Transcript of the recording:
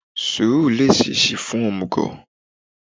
sùúrù le ṣe sí fún omúgò